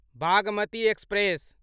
Bhagmati express